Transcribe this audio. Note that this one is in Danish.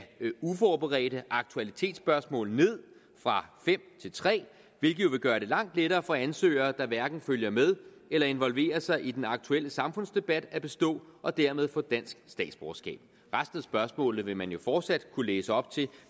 uforberedte aktualitetsspørgsmål ned fra fem til tre hvilket jo vil gøre det langt lettere for ansøgere der hverken følger med eller involverer sig i den aktuelle samfundsdebat at bestå og dermed få dansk statsborgerskab resten af spørgsmålene ville man jo fortsat kunne læse op til